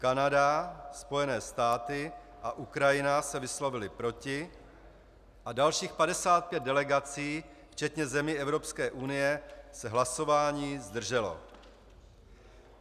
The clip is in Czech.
Kanada, Spojené státy a Ukrajina se vyslovily proti a dalších 55 delegací, včetně zemí Evropské unie, se hlasování zdrželo.